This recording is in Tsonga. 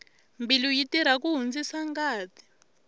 mbilu yi tirha ku hundzisa ngati